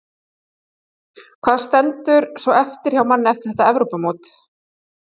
Hvað stendur svo eftir hjá manni eftir þetta Evrópumót?